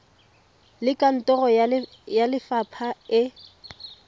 le kantoro ya lefapha e